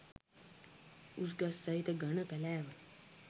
උස් ගස් සහිත ඝන කැලෑව